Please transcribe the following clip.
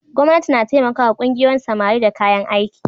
Gwamnati na taimakawa ƙungiyoyin samari da kayan aiki.